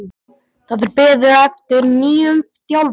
Það er beðið eftir nýjum þjálfara að sunnan.